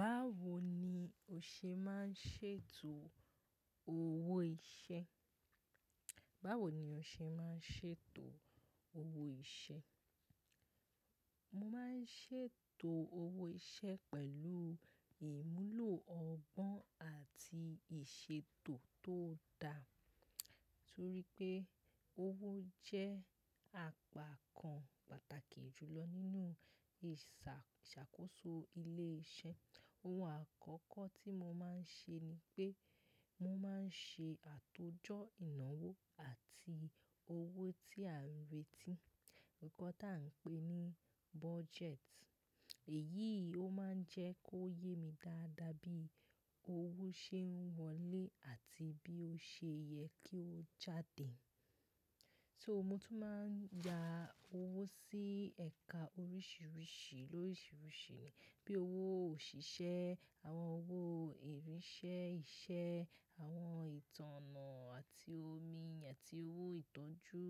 Báwo ni o ṣe máa ń ṣètò owó iṣẹ́? Báwo ni o ṣe máa ń ṣètò owó iṣẹ́? Mo máa ń ṣètò owó iṣẹ́ pẹ̀lú ìmúlò ọgbọ́n àti ìṣètò tó dá, torí pé owó jẹ́ àpá kan pàtàkì jù lọ nínú ìṣàkóso ilé iṣẹ́. Ohun àkọ́kọ́ tí mo máa ń ṣe ni pé mo máa ń ṣe àtójọ́ ìnáwó àti owó tí a ń retí, nǹkan tí à ń pè ní budget. Èyí ó máa ń jẹ́ kó yé mi dáadáa bí owó ṣe ń wọlé àti bí ó ṣe yẹ kí ó jáde. So mo tún máa ń ya owó sí ẹ̀ka oríṣiríṣi, loríṣiríṣi, bí i owó òṣìṣẹ́, àwọn owó ìrín-iṣẹ́ iṣẹ́, àwọn ìtànná àti omi, àti owó ìtọ́jú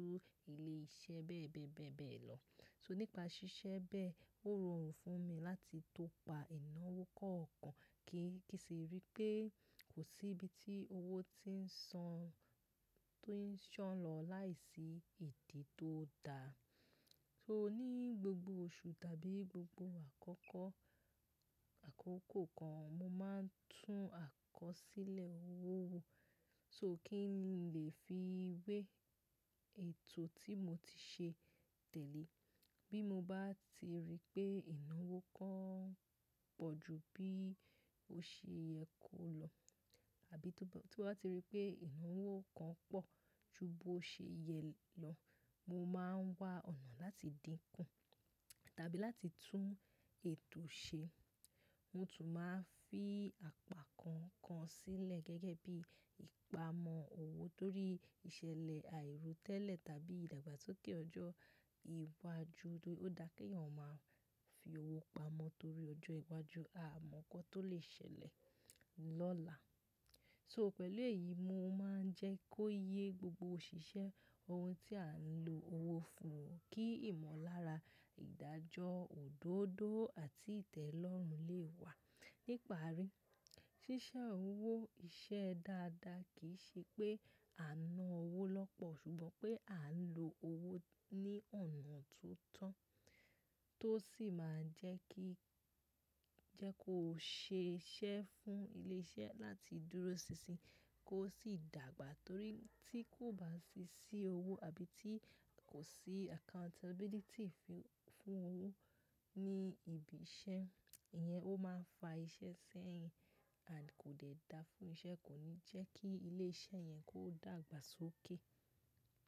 ilé iṣẹ́ bẹ́ẹ̀ bẹ́ẹ̀ bẹ́ẹ̀ bẹ́ẹ̀ lọ. So nípa ṣíṣẹ́ bẹ́ẹ̀, ó rọrùn fún mi láti tó pa ìnáwó kọ̀ọ̀kan kí ki n sì rí pé kò sí ibi tí owó ti ń san, tó ń ṣán lọ láìsí ìdí tó dá. So ní gbogbo oṣù tàbí gbogbo àkọ́kọ́, àkókò kan, mo máa ń tún àkọsílẹ̀ owó wo. So kí n lè fi wé ètò tí mo ti ṣe tẹ̀lé. Bí mo bá ti rí pé ìnáwó kan pọ̀ ju bí ó ṣe yẹ kó lọ, àbí tó bá ti rí pé ìnáwó kan pọ̀ ju bó ṣe yẹ lọ, mo máa ń wá ọ̀nà láti dínkù, tàbí láti tún ètò ṣe. Mo tún máa ń fi àpá kan kan sílẹ̀ gẹ́gẹ́ bí ìpamọ́ owó torí ìṣẹ̀lẹ̀ àìrótẹ́lẹ̀ tàbí ìdàgbàsókè ọjọ́ iwájú, ó dá kí èèyàn máa fi owó pamọ́ torí ọjọ́ iwájú, aamọ̀ nǹkan tó lè ṣẹlẹ̀ lọ́la. So pẹ̀lú èyí, mo máa ń jẹ́ kó yé gbogbo òṣìṣẹ́ ohun tí à ń lo owó fún un kí ìmọ̀lára ìdájọ́ òdodo àti ìtẹ́lọ́rùn lè wà. Ní ìparí, ṣíṣẹ́ owó iṣẹ́ dáadáa kì í ṣe pé a ń ná owó lọ́pọ̀, ṣùgbọ́n pé à ń lo owó ní ọ̀nà tó tọ́, tó sì máa jẹ́ kí, jẹ́ kó ṣe iṣe fún ilé iṣẹ́ láti dúró sinsin, kó sì dàgbà torí tí kò bá ṣíṣí owó àbí tí kò sí accountability fún owó ní ibi iṣẹ́, ìyẹn ó máa ń fa iṣẹ́ sẹ́yìn, and kò dẹ̀ dáa fún iṣẹ́, kò ní jẹ́ kí ilé iṣẹ́ yẹn kó dàgbà sókè.